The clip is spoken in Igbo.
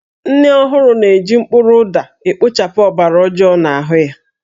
Nne ọhụrụ na-eji mkpụrụ ụda ekpochapụ ọbara ọjoo n'ahụ ya